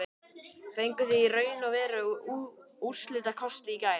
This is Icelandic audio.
Fenguð þið í raun og veru úrslitakosti í gær?